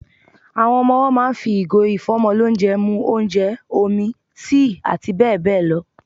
Ọmọ owọ́ máà ń fi ìgò ìfọ́mọlónjẹ mu ónjẹ, omi, tíì àti bẹ́ẹ̀ bẹ́ẹ̀ lọ.